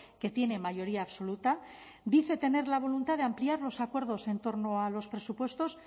que tiene mayoría absoluta dice tener la voluntad de ampliar los acuerdos en torno a los presupuestos